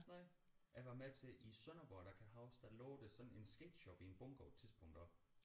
Nej jeg var med til i Sønderborg der kan jeg huske der lå der sådan en sketch up i en bunker på et tidspunkt også